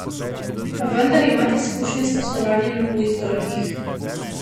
Pa vendar imate izkušnje s poslovanjem na tujih trgih.